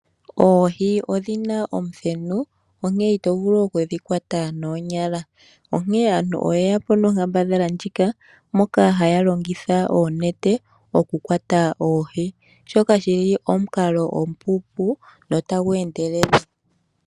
Oohi odhina omuthenu, onkene itovulu okudhikwata noonyala. Onkene aantu oyeyapo nonkambadhala ndjika, moka haya longitha oonete, okukwata oohi. Shoka oshili omukalo omupu notagu endelele.